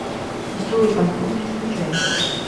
веселый конструктор скачай